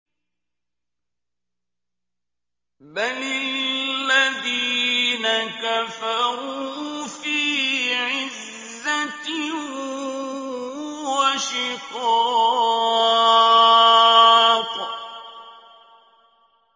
بَلِ الَّذِينَ كَفَرُوا فِي عِزَّةٍ وَشِقَاقٍ